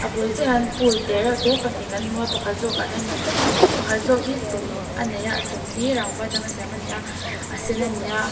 a bul chiah ah hian pool te reuh te pahnih kan hmu a pakhat zawk ah hian pakhat zawk hi chung a nei a a chung hi rangva a tanga siam a ni a a sen a ni a.